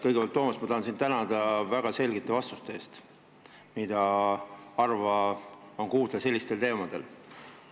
Kõigepealt, Toomas, ma tahan sind tänada väga selgete vastuste eest, mida sellistest teemadest rääkides harva kuulda on.